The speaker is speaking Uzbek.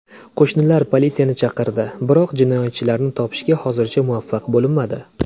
Qo‘shnilar politsiyani chaqirdi, biroq jinoyatchilarni topishga hozircha muvaffaq bo‘linmadi.